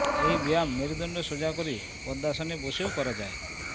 এই ব্যায়াম মেরুদণ্ড সোজা করে পদ্মাসনে বসেও করা যায়